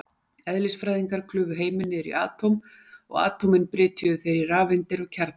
Eðlisfræðingar klufu heiminn niður í atóm, og atómin brytjuðu þeir í rafeindir og kjarna.